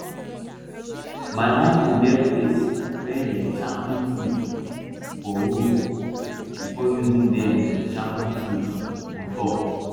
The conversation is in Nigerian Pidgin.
my uncle get place wey him sharpen tools for wood before using them to sharpen tools on top